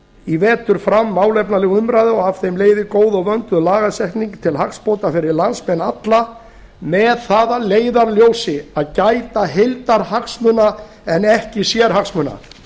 í vetur fram málefnaleg umræða og af henni leiði góð og vönduð lagasetning til hagsbóta fyrir landsmenn alla með það að leiðarljósi að gæta heildarhagsmuna en ekki sérhagsmuna